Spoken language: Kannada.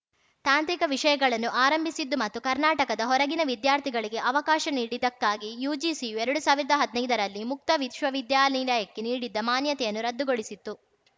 ತಾಂತ್ರಿಕ ವಿಷಯಗಳನ್ನು ಆರಂಭಿಸಿದ್ದು ಮತ್ತು ಕರ್ನಾಟಕದ ಹೊರಗಿನ ವಿದ್ಯಾರ್ಥಿಗಳಿಗೆ ಅವಕಾಶ ನೀಡಿದಕ್ಕಾಗಿ ಯುಜಿಸಿಯು ಎರಡು ಸಾವಿರದಾ ಹದ್ನೈದರಲ್ಲಿ ಮುಕ್ತ ವಿಶ್ವ ವಿದ್ಯಾನಿಲಯಗೆ ನೀಡಿದ್ದ ಮಾನ್ಯತೆಯನ್ನು ರದ್ದುಗೋಳಿಸಿತ್ತು